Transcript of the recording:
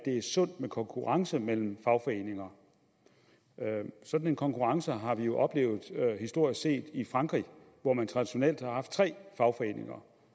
sundt med konkurrence mellem fagforeninger sådan en konkurrence har vi jo historisk set oplevet i frankrig hvor man traditionelt har haft tre fagforeninger